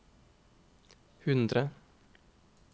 hundre